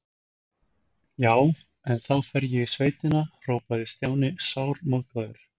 Já, en þá fer ég í sveitina hrópaði Stjáni sármóðgaður.